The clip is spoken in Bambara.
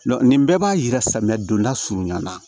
nin bɛɛ b'a yira samiya donda surunya na